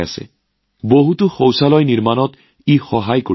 ইয়াৰ উপৰিও বহু শৌচাগাৰ নিৰ্মাণত সহায় কৰিছে